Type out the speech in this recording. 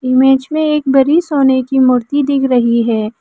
Image में एक बड़ी सोने की मूर्ति दिख रही है।